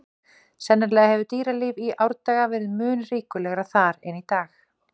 Sennilega hefur dýralíf í árdaga verið mun ríkulegra þar en í dag.